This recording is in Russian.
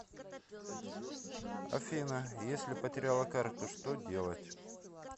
афина если потеряла карту что делать